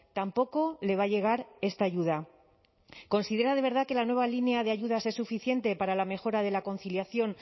tampoco le va a llegar esta ayuda considera de verdad que la nueva línea de ayudas es suficiente para la mejora de la conciliación